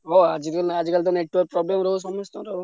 ହଁ ଆଜି କାଲି network problem ରହୁଛି ସମସ୍ତଙ୍କର।